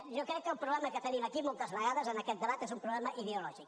jo crec que el problema que tenim aquí moltes vegades en aquest debat és un problema ideològic